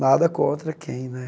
Nada contra quem, né?